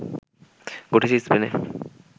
ঘটেছে স্পেনে